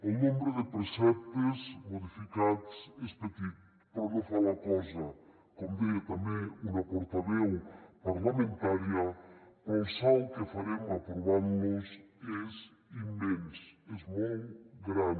el nombre de preceptes modificats és petit però no fa la cosa com deia també una portaveu parlamentària però el salt que farem aprovant los és immens és molt gran